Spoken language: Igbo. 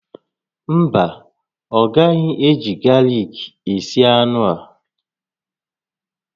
Mba, ọ gaghị eji galik esi anụ ahụ